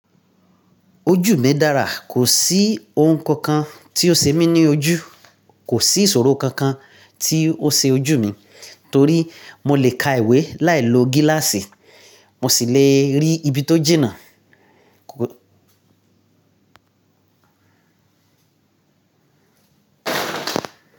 Ojú mi dára, kò sí ohun kan kan tí ó ṣe mí ní ojú, kò sí ìṣòro kankan tí ó ṣe ojú mi torí mo lè ka ìwé láì lo gíláàsì, mo sì le rí ibi tó jìnnà.